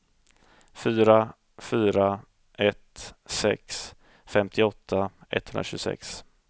fyra fyra ett sex femtioåtta etthundratjugosex